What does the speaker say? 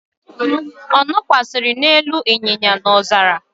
ọ̀ nọkwasi n'elu camel n'ọzara?